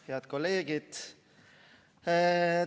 Head kolleegid!